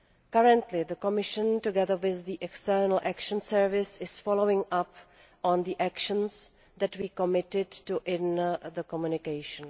Currently the Commission, together with the European External Action Service, is following up on the actions that we committed to in the Communication.